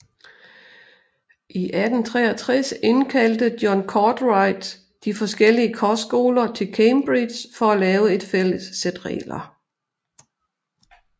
I 1863 indkaldte John Cartwright de forskellige kostskoler til Cambridge for at lave et fælles sæt regler